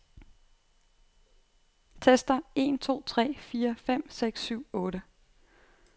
Tester en to tre fire fem seks syv otte.